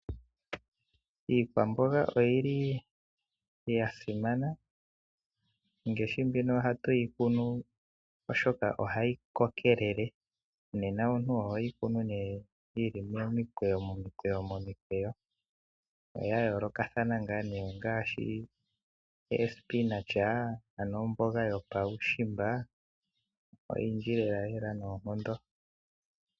Iikwamboga oyi li ya simana, ngaashi mbino ohatu yi kunu oshoka ohayi kokelele, nena omuntu oho yi kunu neye yi li momikwewo, oya yolokathana nga nee ngaashi; ospinach ano omboga yopaushimba, oyindji lelalela noonkondo.